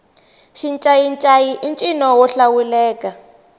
xincayincayi i ncino wo hlawuleka